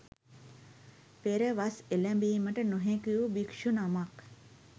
පෙර වස් එළැඹීමට නොහැකි වූ භික්ෂු නමක්